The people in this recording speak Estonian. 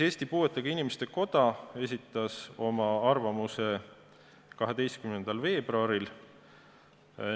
Eesti Puuetega Inimeste Koda esitas oma arvamuse 12. veebruaril.